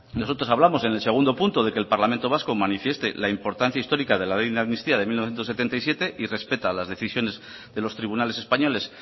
nosotros hablamos en el segundo punto de que el parlamento vasco manifieste la importancia histórica de la ley de amnistía de mil novecientos setenta y siete y respeta las decisiones de los tribunales españoles